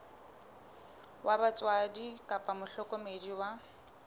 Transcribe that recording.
wa batswadi kapa mohlokomedi wa